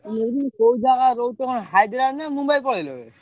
ମୁଁ କହୁଥିଲି କୋଉ ଜାଗା ରହୁଛ କଣ ହାଇଦ୍ରାବାଦ ନା ମୁମ୍ବାଇ ପଳେଇଲ ଏବେ?